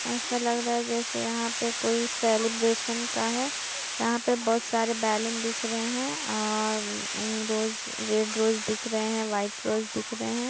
ऐसा लग रहा है जैसे यहां पे कोई सेलिब्रेशन का है यहां पर बहुत सारे बैलून दिख रहे है औ-र म्म रोज रेड रोज दिख रहे हैं व्हाइट रोज दिख रहे हैं।